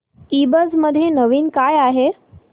ईबझ मध्ये नवीन काय आहे